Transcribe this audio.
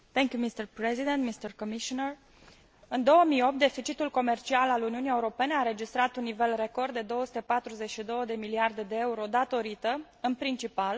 În 2008, deficitul comercial al Uniunii Europene a înregistrat un nivel record de 242 de miliarde de euro, datorită, în principal, creșterii prețului la energia importată.